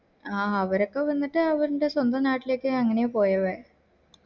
ആഹ് അവരൊക്കെ വന്നിട്ട് അവര്ൻറെ സ്വന്തം നാട്ടിലേക്ക് അങ്ങനെ പോയവേ